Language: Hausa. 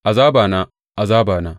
Azabana, azabana!